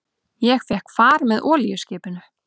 Ég fékk far með olíuskipinu